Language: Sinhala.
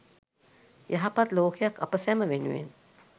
යහපත් ලෝකයක් අප සැම වෙනුවෙන්